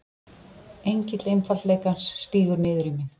Engill einfaldleikans stígur niður í mig.